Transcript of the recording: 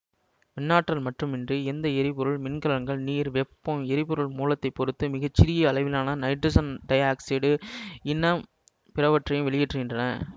மின்னாற்றல் மட்டுமின்றி இந்த எரிபொருள் மின்கலன்கள் நீர் வெப்பம் எரிபொருள் மூலத்தைப் பொறுத்து மிக சிறிய அளவிலான நைட்ரசன் டைஆக்சைடு இன்ன பிறவற்றையும் வெளியேற்றுகின்றன